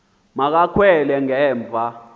ma kakhwele ngemva